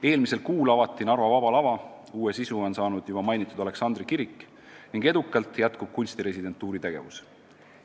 Eelmisel kuul avati Narva Vaba Lava, uue sisu on saanud juba mainitud Aleksandri kirik ning edukalt jätkub kunstiresidentuuri tegevus.